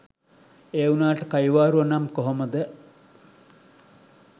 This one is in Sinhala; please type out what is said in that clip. ඒ වුනාට කයිවාරුව නම් කොහොමද.